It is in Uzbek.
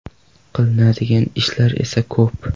Qilinadigan ishlar esa ko‘p.